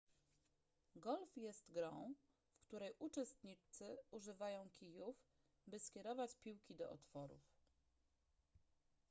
golf jest grą w której uczestnicy używają kijów by skierować piłki do otworów